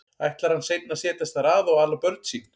Ætlar hann seinna að setjast þar að og ala börn sín?